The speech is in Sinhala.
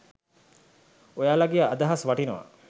ඔයාලාගේ අදහස් වටිනවා.